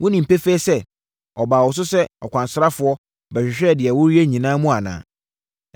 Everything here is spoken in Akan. Wonim pefee sɛ, ɔbaa wo so sɛ ɔkwansrafoɔ, bɛhwehwɛɛ deɛ woreyɛ nyinaa mu anaa?”